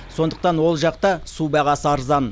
сондықтан ол жақта су бағасы арзан